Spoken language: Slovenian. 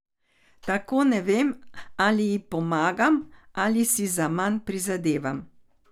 Tako ne vem, ali ji pomagam ali si zaman prizadevam.